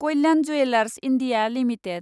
Kalyan jewellers India limited